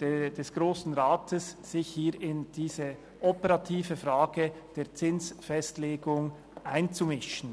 des Grossen Rats, sich hier in diese operative Frage der Zinsfestlegung einzumischen.